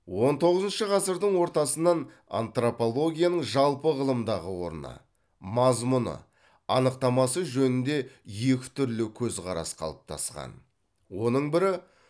он тоғызыншы ғасырдың ортасынан антропологияның жалпы ғылымдағы орны мазмұны анықтамасы жөнінде екі түрлі көзқарас қалыптасқан оның бірі